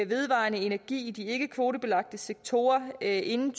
vedvarende energi i de ikkekvotebelagte sektorer inden